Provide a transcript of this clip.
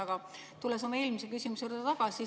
Ma tulen oma eelmise küsimuse juurde tagasi.